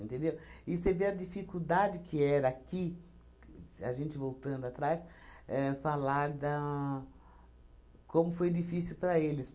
Entendeu? E você vê a dificuldade que era aqui, a gente voltando atrás, éh falar da como foi difícil para eles.